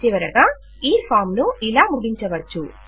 చివరగా ఈ ఫాం ను ఇలా ముగించవచ్చు